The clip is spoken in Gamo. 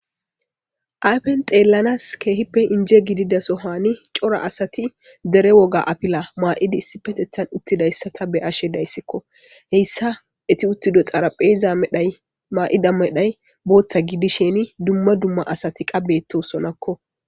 Ayfen xelanas kehipe inje gidida sohani c'ora asati dere woga afila ma'idi issipetetan utidaysata be'ashe daysko heysa eti utido xarapheza medhay ma'ida medhay bota gidishin duma duma asati qa betosonakko.